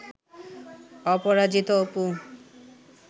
Aparajito Apu